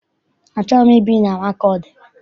Achọghị m ibi na Makọdị.